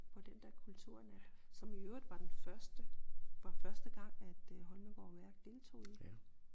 På den dér kulturnat som i øvrigt var den første for første gang at øh Holmegaard Værk deltog i det